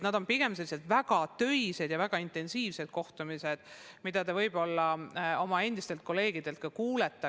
Need on olnud pigem väga töised ja väga intensiivsed kohtumised, mille kohta te võib-olla oma endistelt kolleegidelt ka kuulete.